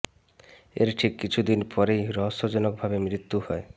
এর ঠিক কিছু দিন পরেই রহস্যজনক ভাবে মৃত্যু হয়